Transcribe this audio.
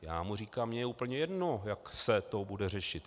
Já mu říkám: Mně je úplně jedno, jak se to bude řešit.